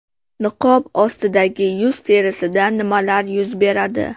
Niqob ostidagi yuz terisida nimalar yuz beradi?